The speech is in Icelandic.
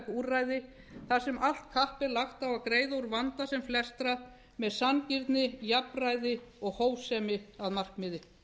úrræði þar sem allt kapp er lagt á að greiða úr vanda sem flestra með sanngirni jafnræði og hófsemi að markmiði